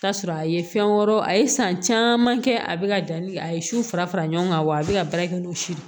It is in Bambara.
Ta sɔrɔ a ye fɛn wɛrɛw a ye san caman kɛ a bɛ ka danni a ye su fara fara ɲɔgɔn kan wa a bɛ ka baara kɛ n'o si ye